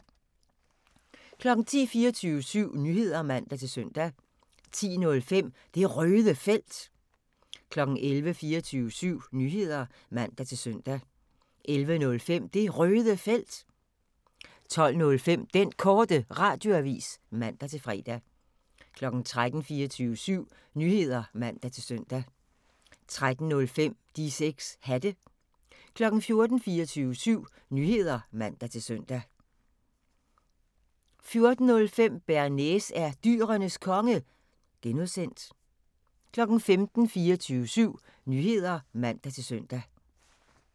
10:00: 24syv Nyheder (man-søn) 10:05: Det Røde Felt 11:00: 24syv Nyheder (man-søn) 11:05: Det Røde Felt 12:05: Den Korte Radioavis (man-fre) 13:00: 24syv Nyheder (man-søn) 13:05: De 6 Hatte 14:00: 24syv Nyheder (man-søn) 14:05: Bearnaise er Dyrenes Konge (G) 15:00: 24syv Nyheder (man-søn)